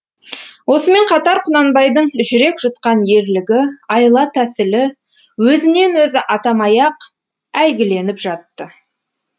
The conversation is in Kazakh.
осымен қатар құнанбайдың жүрек жұтқан ерлігі айла тәсілі өзінен өзі атамай ақ әйгіленіп жатты